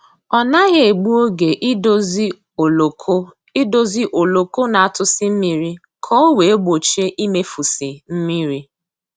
Ọ naghị egbu oge idozi oloko idozi oloko na-atụsi mmiri ka ọ wee gbochie imefusi mmiri